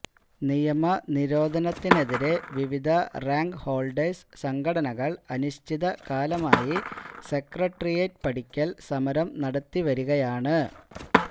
നിയമന നിരോധനത്തിനെതിരെ വിവിധ റാങ്ക്ഹോള്ഡേഴ്സ് സംഘടനകള് അനിശ്ചിതകാലമായി സെക്രട്ടേറിയറ്റ് പടിക്കല് സമരം നടത്തിവരികയാണ്